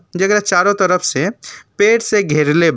जेकरा चारों तरफ से पेड़ से घेरले बा।